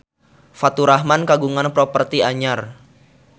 Faturrahman kagungan properti anyar